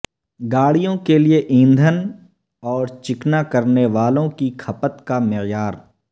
گاڑیوں کے لئے ایندھن اور چکنا کرنے والوں کی کھپت کا معیار